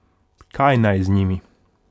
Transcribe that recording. Kaj naj z njimi?